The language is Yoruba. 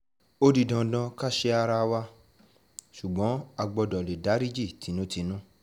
ó di dandan ká sẹ́ ara wa ṣùgbọ́n a gbọ́dọ̀ lè dariji tinútinú